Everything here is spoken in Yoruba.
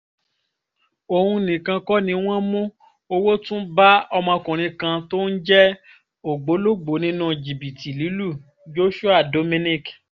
òun nìkan kọ́ ni wọ́n mú owó tún bá ọmọkùnrin kan tóun jẹ́ ògbólógbòó nínú jìbìtì lílu joshua dominic